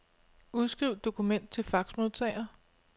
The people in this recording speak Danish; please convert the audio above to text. Udskriv dokument til faxmodtager.